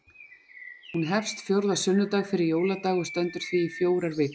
Hún hefst fjórða sunnudag fyrir jóladag og stendur því í fjórar vikur.